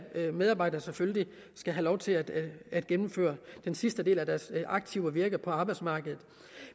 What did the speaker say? medarbejdere selvfølgelig skal have lov til at at gennemføre den sidste del af deres aktive virke på arbejdsmarkedet